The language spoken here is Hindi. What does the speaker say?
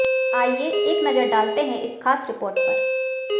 आाईए एक नजर डालते हैं इस खास रिपोर्ट पर